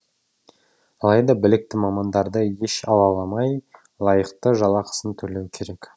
алайда білікті мамандарды еш алаламай лайықты жалақысын төлеу керек